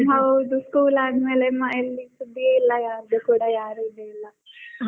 ಹೌದು school ಆದ್ ಮೇಲೆ ಮತ್ತೆ ಎಲ್ಲಿ ಅಂತ ಯಾರ್ದು ಕೂಡಾ ಸುದ್ದಿಯೇ ಇಲ್ಲಾ. ಯಾರ್ದು ಕೂಡ .